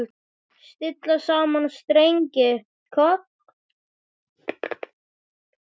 Stilla saman strengi hvað?